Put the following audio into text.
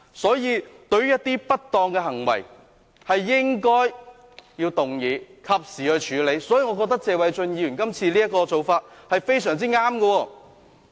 所以，對於一些不當的行為，應該動議及時處理，我認為謝偉俊議員今次的做法非常正確。